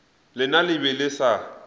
lena le be le sa